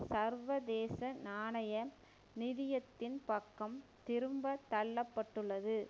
சர்வதேச நாணய நிதியத்தின் பக்கம் திரும்ப தள்ள பட்டுள்ளது